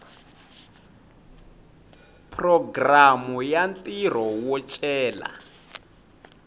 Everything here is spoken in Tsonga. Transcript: programu ya ntirho wo cela